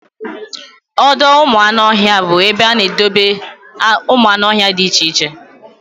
Ọdọụmụanụọhịa bụ ebe a na-edebe ụmụanụọhịa dị iche iche